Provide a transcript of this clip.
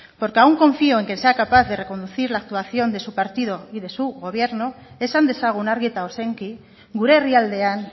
porque aún confío en que sea capaz de reconducir la actuación de su partido y de su gobierno esan dezagun argi eta ozenki gure herrialdean